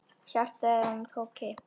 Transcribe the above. Hjartað í honum tók kipp.